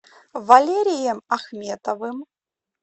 валерием ахметовым